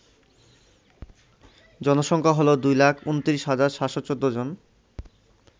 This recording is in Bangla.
জনসংখ্যা হল ২২৯৭১৪ জন